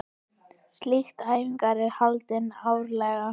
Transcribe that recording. Slík æfing er haldin árlega.